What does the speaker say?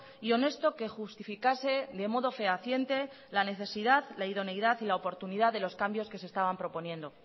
y honesto que justificase de modo fehaciente la necesidad la idoneidad y la oportunidad de los cambios que se estaban proponiendo